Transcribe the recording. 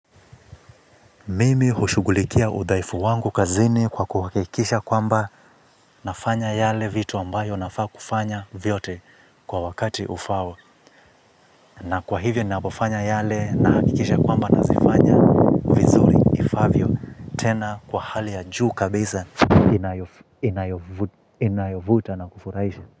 Mimi hushugulikia udhaifu wangu kazini kwa kuhakikisha kwamba nafanya yale vitu ambayo nafaa kufanya vyote kwa wakati ufao. Na kwa hivyo ninavofanya yale nahakikisha kwamba nazifanya vizuri ifaavyo tena kwa hali ya juu kabisa. Inayovuta na kufurahisha.